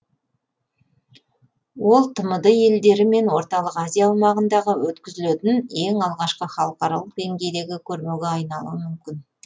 ол тмд елдері мен орталық азия аумағындағы өткізілетін ең алғашқы халықаралық денгейдегі көрмеге айналуы мүмкін